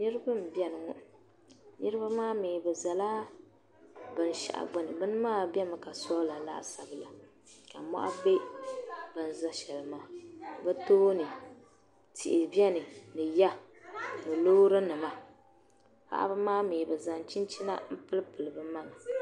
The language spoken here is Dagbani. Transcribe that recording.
Niriba m-beni ŋɔ niriba maa mi bɛ zala bin' shɛɣu ɡbuni bini maa bemi ka soola laasabu la ka mɔɣu be bɛ ni za shɛli maa bɛ tooni tihi beni ni ya ni loorinima paɣiba maa mi bɛ zaŋ chinchina m-pilipili bɛ maŋa